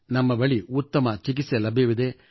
ನಮ್ಮ ಬಳಿ ಉತ್ತಮ ಚಿಕಿತ್ಸೆ ಲಭ್ಯವಿದೆ